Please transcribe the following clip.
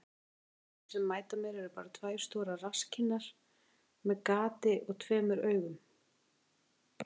Sum andlitin sem mæta mér eru bara tvær stórar rasskinnar með gati og tveimur augum.